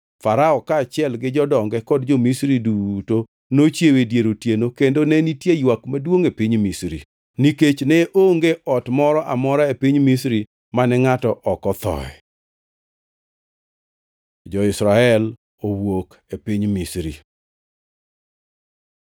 Farao kaachiel gi jodonge kod jo-Misri duto nochiewo e dier otieno kendo ne nitie ywak maduongʼ e piny Misri, nikech ne onge ot moro amora e piny Misri mane ngʼato ok othoe. Jo-Israel owuok e piny Misri